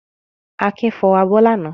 Akin fọ abọ́ lánàá.